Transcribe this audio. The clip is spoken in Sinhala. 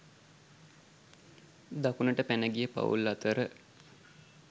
දකුණට පැන ගිය පවුල් අතර